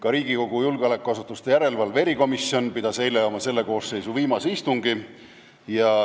Ka Riigikogu julgeolekuasutuste järelevalve erikomisjon pidas eile oma selle koosseisu viimase istungi.